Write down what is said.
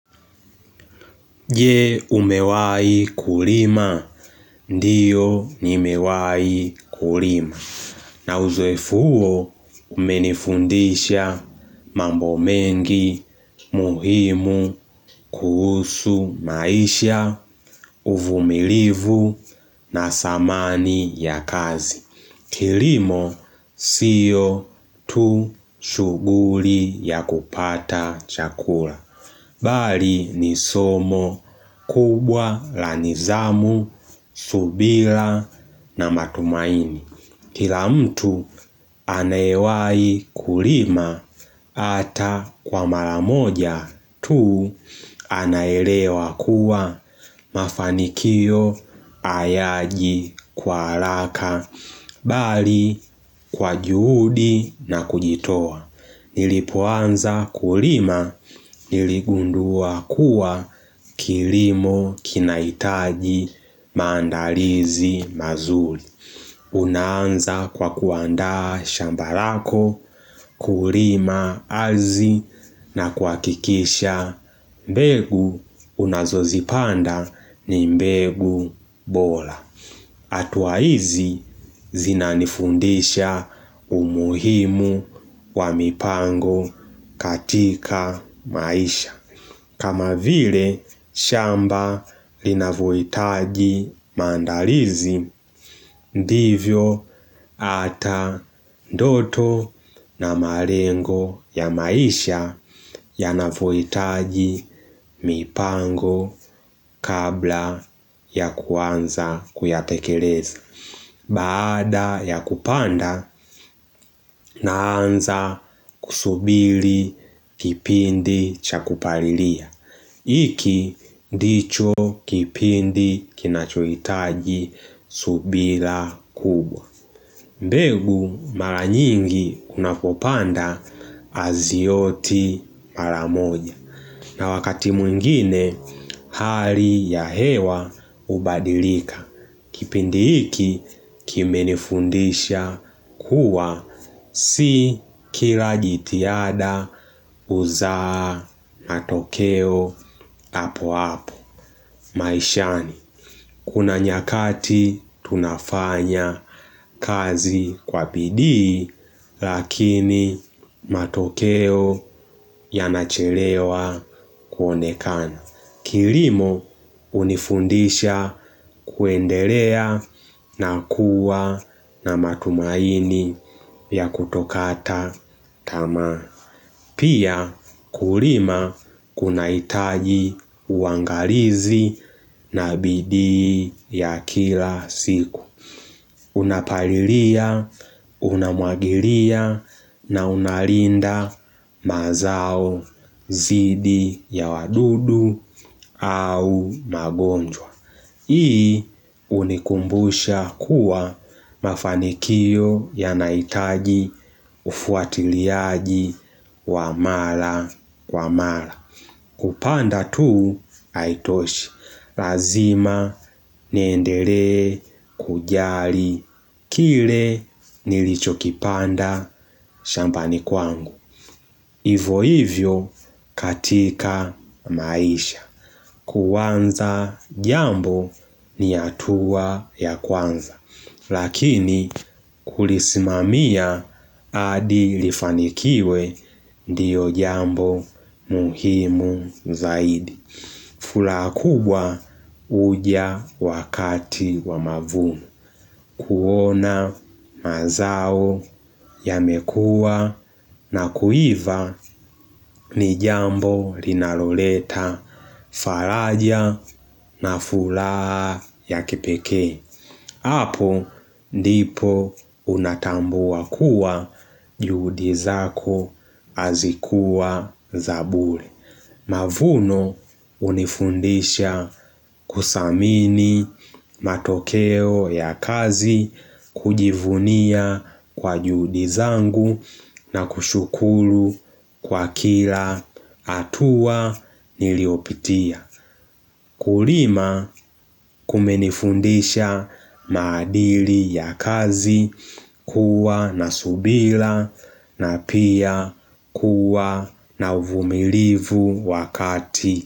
Je, umewai kulima? Ndiyo nimewai kulima. Na uzoefu huo umenifundisha mambo mengi muhimu kuhusu maisha, uvumilivu na samani ya kazi. Kilimo siyo tu shughuri ya kupata chakura. Bali ni somo kubwa la nizamu, subila na matumaini. Kila mtu anaewai kulima ata kwa mara moja tu anaelewa kuwa mafanikio ayaji kwa alaka. Bali kwa juhudi na kujitoa. Nilipoanza kulima niligundua kuwa kilimo kinaitaji maandalizi mazuli. Unaanza kwa kuandaa shamba rako kulima azzi na kuakikisha mbegu unazozipanda ni mbegu bola. Atua izi zinanifundisha umuhimu wa mipango katika maisha. Kama vile shamba linavoitaji maandalizi, ndivyo ata ndoto na marengo ya maisha yanavoitaji mipango kabla ya kuanza kuyatekeleza. Baada ya kupanda naanza kusubili kipindi cha kuparilia Iki ndicho kipindi kinachoitaji subila kubwa mbegu mara nyingi kuna kupanda azioti mara moja na wakati mwingine hali ya hewa ubadilika Kipindi hiki kimenifundisha kuwa si kila jitiada uzaa matokeo apo apo maishani. Kuna nyakati tunafanya kazi kwa bidii lakini matokeo yanachelewa kuonekana. Kilimo unifundisha kuendelea na kuwa na matumaini ya kutokata tamaa Pia kurima kunaitaji uangarizi na bidii ya kila siku Unapalilia, unamwagilia na unalinda mazao zidi ya wadudu au magonjwa. Hii unikumbusha kuwa mafanikio yanaitaji ufuatiliaji wa mala wa mala. Kupanda tuu haitoshi, lazima niendelee kujari, kile nilichokipanda shambani kwangu. Ivo hivyo katika maisha, kuanza jambo ni atua ya kwanza. Lakini kulismamia adi lifanikiwe ndiyo jambo muhimu zaidi. Fulaa kubwa uja wakati wa mavunu. Kuona mazao yamekua na kuiva ni jambo rinaloleta faraja na fulaa ya kipekee. Apo ndipo unatambua kuwa juhudi zako azikuwa za bure. Mavuno unifundisha kusamini matokeo ya kazi kujivunia kwa juhudi zangu na kushukulu kwa kila atua niliopitia. Kurima kumenifundisha maadili ya kazi kuwa na subila na pia kuwa na uvumilivu wakati.